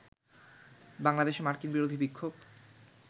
বাংলাদেশে মার্কিন-বিরোধী বিক্ষোভ